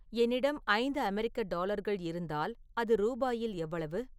என்னிடம் ஐந்து அமெரிக்க டாலர்கள் இருந்தால் அது ரூபாயில் எவ்வளவு